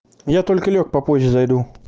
я только лёг попозже зайду